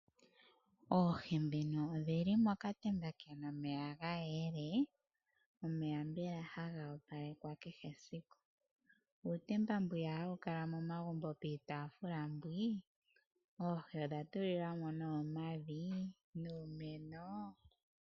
Oohi odhi li mokatemba ke na omeya ga yela. Omeya mbela ohaga opalekwa kehe esiku. Uutemba mbwiyaka hawu kala momagumbo piitaafula. Oohi odha tulilwa mo omavi nuumeno.